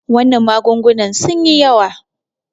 wannan magungunan sun yi yawa